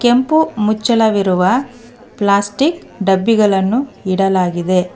ಕೆಂಪು ಮುಚ್ಚಳವಿರುವ ಪ್ಲಾಸ್ಟಿಕ್ ಡಬ್ಬಿಗಳನ್ನು ಇಡಲಾಗಿದೆ.